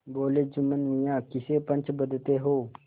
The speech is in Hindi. बोलेजुम्मन मियाँ किसे पंच बदते हो